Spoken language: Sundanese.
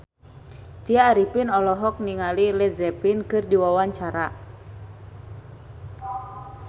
Tya Arifin olohok ningali Led Zeppelin keur diwawancara